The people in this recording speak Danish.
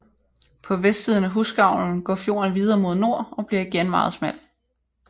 På vestsiden af Husgavlen går fjorden videre mod nord og bliver igen meget smal